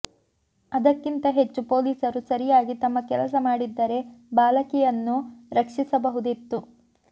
ಅದಕ್ಕಿಂತ ಹೆಚ್ಚು ಪೊಲೀಸರು ಸರಿಯಾಗಿ ತಮ್ಮ ಕೆಲಸ ಮಾಡಿದ್ದರೆ ಬಾಲಕಿಯನ್ನು ರಕ್ಷಿಸಬಹುದಿತ್ತು